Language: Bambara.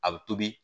A bɛ tobi